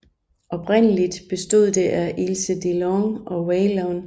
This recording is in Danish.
Oprindeligt bestod det af Ilse DeLange og Waylon